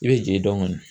I bɛ jigin dɔn kɔni